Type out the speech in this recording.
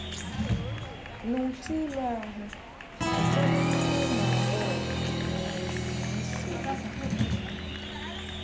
N’ụ̀tụ́lù ahụ, ụfọdụ n’ime ụmụ agbọghọ̀ nwere um nsogbu.